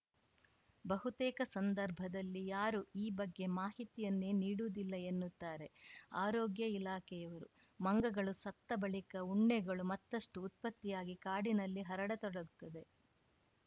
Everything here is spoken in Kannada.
ಬಹುತೇಕ ಸಂದರ್ಭದಲ್ಲಿ ಯಾರೂ ಈ ಬಗ್ಗೆ ಮಾಹಿತಿಯನ್ನೇ ನೀಡುವುದಿಲ್ಲ ಎನ್ನುತ್ತಾರೆ ಆರೋಗ್ಯ ಇಲಾಖೆಯವರು ಮಂಗಗಳು ಸತ್ತ ಬಳಿಕ ಉಣ್ಣೆಗಳು ಮತ್ತಷ್ಟುಉತ್ಪತ್ತಿಯಾಗಿ ಕಾಡಿನಲ್ಲಿ ಹರಡತೊಡಗುತ್ತದೆ